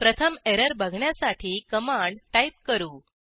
प्रथम एरर बघण्यासाठी command type करू